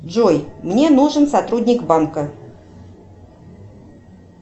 джой мне нужен сотрудник банка